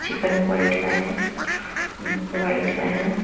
Chicken quite का है white का है।